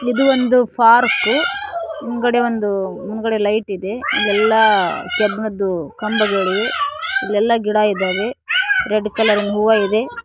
ಇದು ಒಂದು ಪಾರ್ಕು ಮುಂದ್ಗಡೆ ಒಂದು ಮುಂದುಗಡೆ ಲೈಟ್ ಇದೆ ಎಲ್ಲಾ ಕಬ್ಬಿಣದ್ದು ಕಂಬಗಳಿವೆ ಎಲ್ಲ ಗಿಡ ಇದ್ದಾವೆ ರೆಡ್ ಕಲರ್ ಹೂವ ಇದೆ.